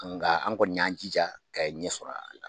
nga an kɔni y'an jija ka ɲɛ sɔrɔ a la.